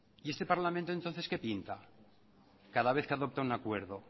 y este parlamento entonces qué pinta cada vez que adopta un acuerdo